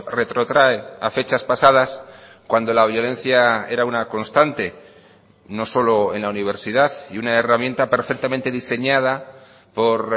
retrotrae a fechas pasadas cuando la violencia era una constante no solo en la universidad y una herramienta perfectamente diseñada por